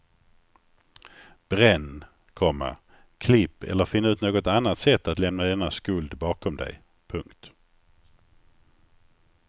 Bränn, komma klipp eller finn ut något annat sätt att lämna denna skuld bakom dig. punkt